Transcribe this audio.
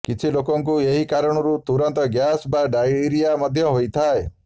କିଛି ଲୋକଙ୍କୁ ଏହି କାରଣରୁ ତୁରନ୍ତ ଗ୍ୟାସ୍ ବା ଡାଇରିଆ ମଧ୍ୟ ହୋଇଥାଏ